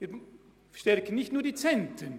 Wir stärken nicht nur die Zentren!